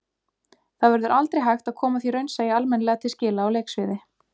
Það verður aldrei hægt að koma því raunsæi almennilega til skila á leiksviði.